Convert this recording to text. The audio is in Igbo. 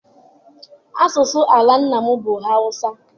Asụsụ ala nna m bụ Hausa.